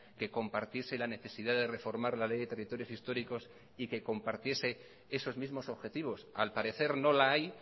que compartiese la necesidad de reformar la ley de territorios históricos y que compartiese esos mismos objetivos al parecer no la hay